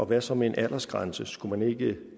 hvad så med en aldersgrænse kunne det